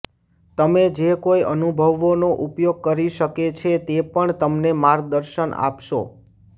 તમે જે કોઈ અનુભવનો ઉપયોગ કરી શકે છે તે પણ તમને માર્ગદર્શન આપશો